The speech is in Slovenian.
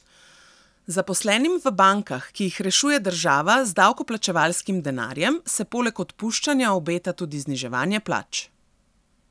Zaposlenim v bankah, ki jih rešuje država z davkoplačevalskim denarjem, se poleg odpuščanja obeta tudi zniževanje plač.